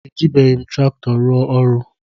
Ejibeghim traktọ rụọ ọrụ.